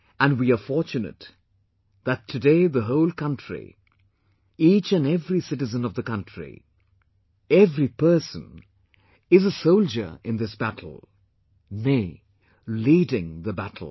And we are fortunate that today the whole country; each and every citizen of the country; every person is a soldier in this battle; nay, leading the battle